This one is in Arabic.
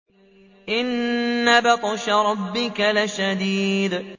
إِنَّ بَطْشَ رَبِّكَ لَشَدِيدٌ